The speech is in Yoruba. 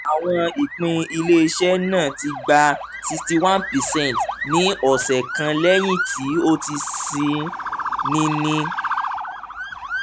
awọn ipin ile-iṣẹ naa ti gba sixty one percent ni ọsẹ kan lẹhin ti o ti ṣii ni ni